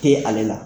Te ale la